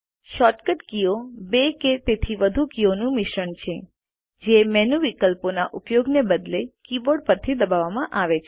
shortcut કીઓ બે કે તેથી વધુ કીઓનું મિશ્રણ છે જે મેનુ વિકલ્પોના ઉપયોગને બદલે કીબોર્ડ પરથી દબાવવામાં આવે છે